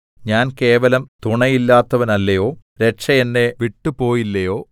ഞാൻ കേവലം തുണയില്ലാത്തവനല്ലയോ രക്ഷ എന്നെ വിട്ടുപോയില്ലയോ